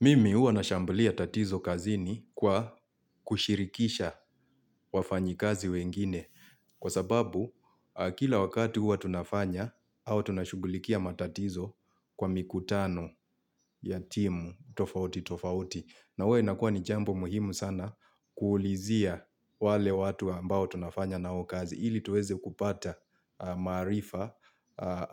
Mimi uwa nashambulia tatizo kazini kwa kushirikisha wafanyikazi wengine kwa sababu kila wakati huwa tunafanya au tunashugulikia matatizo kwa mikutano ya timu tofauti tofauti. Na huwa inakuwa ni jambo muhimu sana kuulizia wale watu ambao tunafanya na wao kazi ili tuweze kupata maarifa